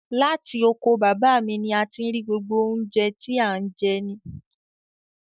Látì oko baba mi ní a ti n rí gbógbo ọ̀un jẹ̀ tì an jẹ ni.